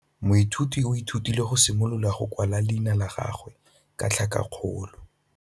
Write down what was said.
Moithuti o ithutile go simolola go kwala leina la gagwe ka tlhakakgolo.